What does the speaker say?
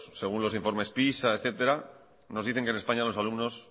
según los informes pisa etcétera nos dicen que en españa los alumnos